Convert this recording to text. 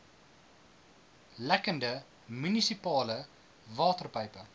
lekkende munisipale waterpype